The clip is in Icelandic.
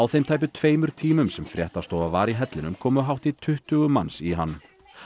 þeim tæpu tveimur tímum sem fréttastofa var í hellinum komu hátt í tuttugu manns í hann